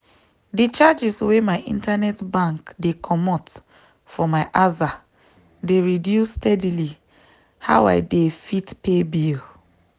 de charges wey my internet bank dey comot for my aza dey reduce steady how i dey fit pay bill.